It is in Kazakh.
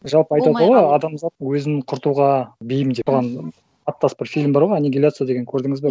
жалпы айтады ғой адамзат өзін құртуға бейім деп аттас бір фильм бар ғой анигиляция деген көрдіңіз ба